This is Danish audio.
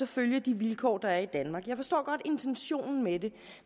følge de vilkår der er i danmark jeg forstår godt intentionen med det